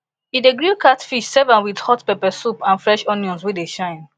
e dey grill catfish serve am with hot pepper sauce and fresh onions wey dey shine